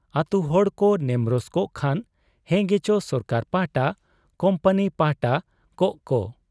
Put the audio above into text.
ᱟᱹᱛᱩ ᱦᱚᱲᱠᱚ ᱱᱮᱢᱨᱚᱥ ᱠᱚᱜ ᱠᱷᱟᱱ ᱦᱮᱸᱜᱮᱪᱚ ᱥᱚᱨᱠᱟᱨ ᱯᱟᱦᱴᱟ, ᱠᱩᱢᱯᱟᱱᱤ ᱯᱟᱦᱴᱟ ᱠᱚᱜ ᱠᱚ ᱾